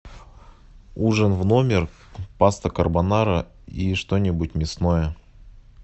ужин в номер паста карбонара и что нибудь мясное